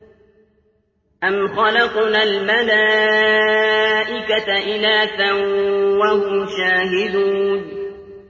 أَمْ خَلَقْنَا الْمَلَائِكَةَ إِنَاثًا وَهُمْ شَاهِدُونَ